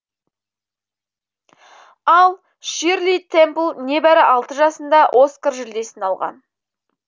ал ширли темпл небәрі алты жасында оскар жүлдесін алған